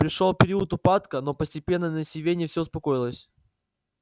пришёл период упадка но постепенно на сивенне всё успокоилось